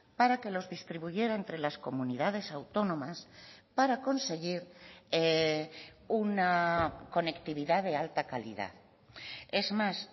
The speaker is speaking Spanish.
para que los distribuyera entre las comunidades autónomas para conseguir una conectividad de alta calidad es más